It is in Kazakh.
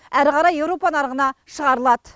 әрі қарай еуропа нарығына шығарылады